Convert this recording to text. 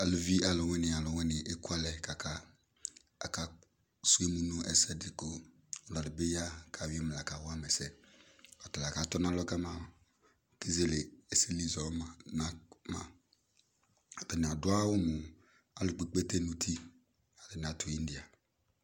Aluvi alʋwani alʋwani ekuɛlɛ kaka, k'asʋ emu nʋ ɛsɛdi kʋ alʋ bi ya k'ayɔ emu la kawama ɛsɛ Ɔtala k'atɔ nalɔ kama, kezele ɛsɛli zɔ ma ma Atani adʋ awʋ mʋ, alʋkpekpe tɛn'uti